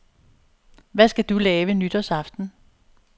Hvad skal du lave nytårsaften?